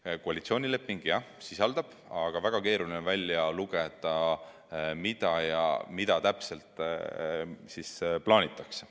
Jah, koalitsioonileping midagi sisaldab, aga väga keeruline on sealt välja lugeda, mida täpselt plaanitakse.